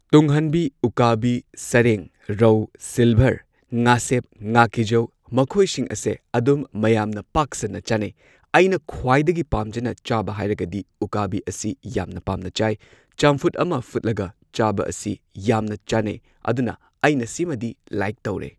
ꯇꯨꯡꯍꯟꯕꯤ ꯎꯀꯥꯕꯤ ꯁꯔꯦꯡ ꯔꯧ ꯁꯤꯜꯚꯔ ꯉꯥꯁꯦꯞ ꯉꯥꯀꯤꯖꯧ ꯃꯈꯣꯏꯁꯤꯡ ꯑꯁꯦ ꯑꯗꯨꯝ ꯃꯌꯥꯝꯅ ꯄꯥꯛꯁꯟꯅ ꯆꯥꯟꯅꯩ꯫ ꯑꯩꯅ ꯈ꯭ꯋꯥꯏꯗꯒꯤ ꯄꯥꯝꯖꯅ ꯆꯥꯕ ꯍꯥꯏꯔꯒꯗꯤ ꯎꯀꯥꯕꯤ ꯑꯁꯤ ꯌꯥꯝꯅ ꯄꯥꯝꯅ ꯆꯥꯏ꯫ ꯆꯝꯐꯨꯠ ꯑꯃ ꯐꯨꯠꯂꯒ ꯆꯥꯕ ꯑꯁꯤ ꯌꯥꯝꯅ ꯆꯥꯅꯩ ꯑꯗꯨꯅ ꯑꯩꯅ ꯁꯤꯃꯗꯤ ꯂꯥꯏꯛ ꯇꯧꯔꯦ꯫